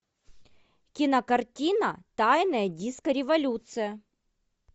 кинокартина тайная диско революция